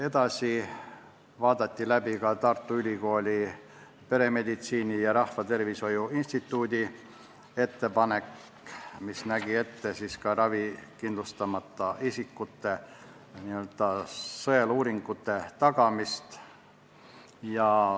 Edasi vaadati läbi Tartu Ülikooli peremeditsiini ja rahvatervishoiu instituudi ettepanek, mis nägi ette ka ravikindlustamata isikutele n-ö sõeluuringute tagamist.